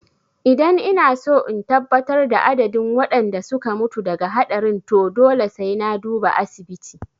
Idan inaso in tabbatar da adadin waɗanda suka mutu daga haɗarin to dole sai na duba asibiti